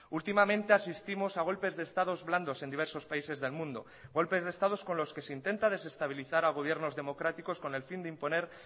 últimamente asistimos a golpes de estados blandos en diversos países del mundo golpes de estados con los que se intenta desestabilizar a gobiernos democráticos con el fin de imponer